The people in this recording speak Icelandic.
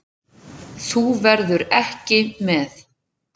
Þú verður ekki með.